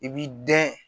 I b'i dɛn